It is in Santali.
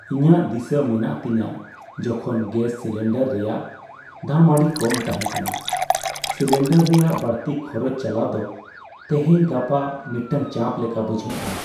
ᱤᱧᱟᱹᱜ ᱫᱤᱥᱟᱹ ᱢᱮᱱᱟᱜ ᱛᱤᱧᱟᱹ ᱡᱚᱠᱷᱚᱱ ᱜᱮᱥ ᱥᱤᱞᱤᱱᱰᱟᱨ ᱨᱮᱭᱟᱜ ᱫᱟᱢ ᱟᱹᱰᱤ ᱠᱚᱢ ᱛᱟᱦᱮᱸ ᱠᱟᱱᱟ ᱾ ᱥᱤᱞᱤᱱᱰᱟᱨ ᱨᱮᱭᱟᱜ ᱵᱟᱹᱲᱛᱤ ᱠᱷᱚᱨᱚᱪ ᱪᱟᱞᱟᱣ ᱫᱚ ᱛᱮᱦᱮᱧᱼᱜᱟᱯᱟ ᱢᱤᱫᱴᱟᱝ ᱪᱟᱯ ᱞᱮᱠᱟ ᱵᱩᱡᱷᱟᱹᱜᱼᱟ ᱾